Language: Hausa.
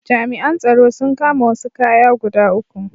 Jami’an tsaro sun kama wasu kaya guda uku.